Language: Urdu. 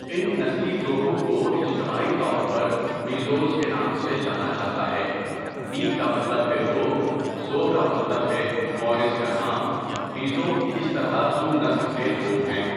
ان نسلی گروہوں کو اجتماعی طور پر میزوز کے نام سے جانا جاتا ہے، می کا مطلب ہے لوگ، زو کا مطلب ہے مورث کا نام، میزو اس طرح زو نسل کے لوگ ہیں۔